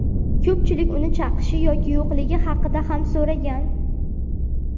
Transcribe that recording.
Ko‘pchilik uni chaqishi yoki yo‘qligi haqida ham so‘ragan.